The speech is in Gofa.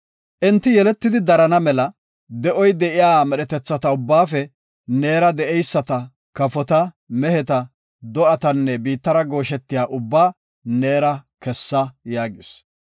Enti yeletidi, darana mela de7oy de7iya medhetetha ubbaafe neera de7eyisata kafota, meheta, do7atanne biittara gooshetiya ubbaa neera kessa” yaagis.